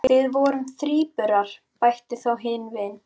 Við vorum þríburar, bætir þá hin við.